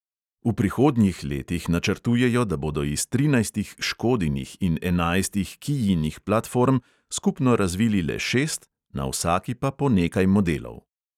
V prihodnjih letih načrtujejo, da bodo iz trinajstih škodinih in enajstih kijinih platform skupno razvili le šest, na vsaki pa po nekaj modelov.